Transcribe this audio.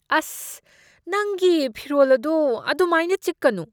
ꯑꯁ, ꯅꯪꯒꯤ ꯐꯤꯔꯣꯜ ꯑꯗꯨ ꯑꯗꯨꯃꯥꯏꯅ ꯆꯤꯛꯀꯅꯨ꯫